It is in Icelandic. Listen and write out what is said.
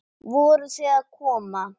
Voruð þið að koma?